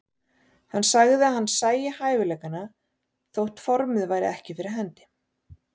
Hann sagði að hann sæi hæfileikana þótt formið væri ekki fyrir hendi.